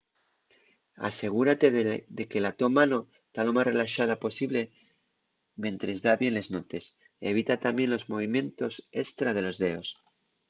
asegúrate de que la to mano ta lo más relaxada posible mientres da bien les notes evita tamién los movimientos estra de los deos